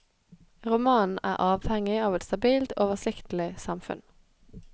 Romanen er avhengig av et stabilt, oversiktlig samfunn.